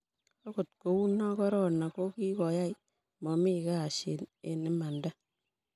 agot ko uno korona kokikoai mami kashin eng imanda